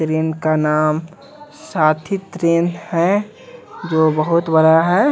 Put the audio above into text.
इनका नाम साथी तृण है जो बहुत बड़ा है।